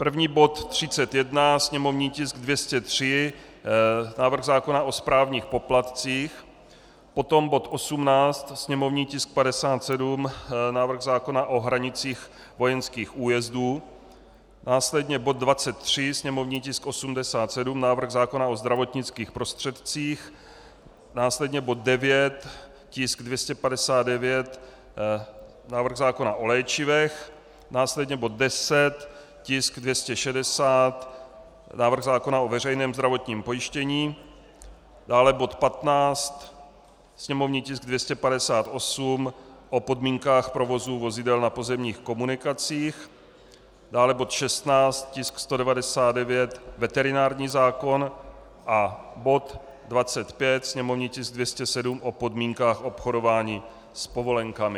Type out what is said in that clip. První bod 31, sněmovní tisk 203, návrh zákona o správních poplatcích, potom bod 18, sněmovní tisk 57, návrh zákona o hranicích vojenských újezdů, následně bod 23, sněmovní tisk 87, návrh zákona o zdravotnických prostředcích, následně bod 9, tisk 259, návrh zákona o léčivech, následně bod 10, tisk 260, návrh zákona o veřejném zdravotním pojištění, dále bod 15, sněmovní tisk 258, o podmínkách provozu vozidel na pozemních komunikacích, dále bod 16, tisk 199, veterinární zákon, a bod 25, sněmovní tisk 207, o podmínkách obchodování s povolenkami.